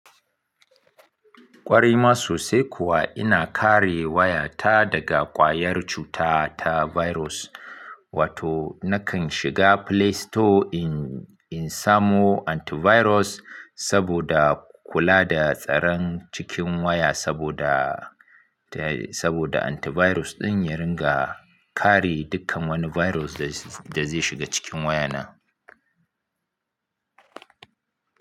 Ƙwarima sosai kuwa ina kare waya ta daga ƙwayar cuta ta virus. Wato nakan shiga Play Store in samo antivirus saboda kula da tsaron cikin waya saboda, saboda antivirus ɗin ya ringa kare dukkan wani virus da zai shiga cikin waya na.